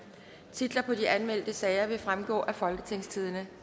titler på de anmeldte sager vil fremgå af folketingstidende